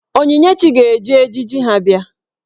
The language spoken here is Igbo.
Onyinyechi ga-eji ejiji ha bịa.